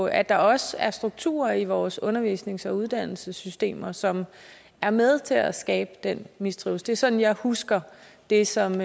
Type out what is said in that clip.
at der også er strukturer i vores undervisnings og uddannelsessystemer som er med til at skabe den mistrivsel det er sådan jeg husker det som